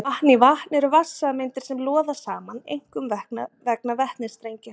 vatn í vatn eru vatnssameindir sem loða saman einkum vegna vetnistengja